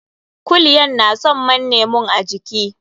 Kulyan na son manne mun a jiiki.